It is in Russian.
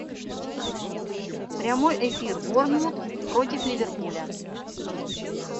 прямой эфир борнмут против ливерпуля